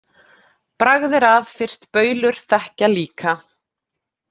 Bragð er að, fyrst baulur þekkja líka